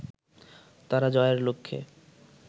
তারা জয়ের লক্ষ্যে